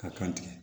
Ka kan tigɛ